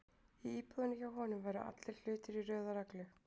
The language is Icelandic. Í íbúðinni hjá honum væru allir hlutir í röð og reglu.